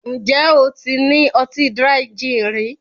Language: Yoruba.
Ǹjẹ́ o ti ní ọtí Dry gin rí